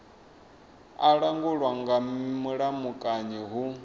a langulwa nga mulamukanyi hu